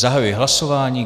Zahajuji hlasování.